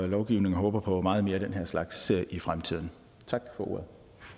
lovgivningen og håber på meget mere af den her slags i fremtiden tak for ordet